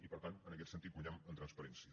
i per tant en aquest sentit guanyem en transparència